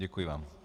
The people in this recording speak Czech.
Děkuji vám.